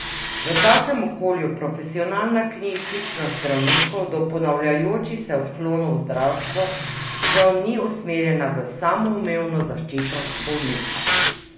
V takem okolju profesionalna kritičnost zdravnikov do ponavljajočih se odklonov v zdravstvu, žal, ni usmerjena v samoumevno zaščito bolnika.